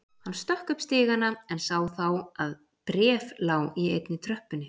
Hann stökk upp stigana en sá þá að bréf lá í einni tröppunni.